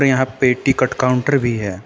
यहां पे ticket counter भी है।